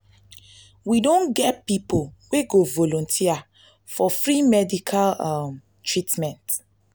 we don get pipo wey go volunteer for free medical[ um ] treatment.